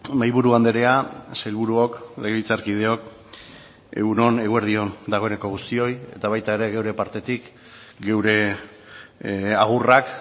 mahaiburu andrea sailburuok legebiltzarkideok egun on eguerdi on dagoeneko guztioi eta baita ere gure partetik gure agurrak